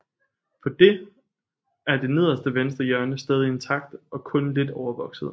På dét er det nederste venstre hjørne stadig intakt og kun lidt overvokset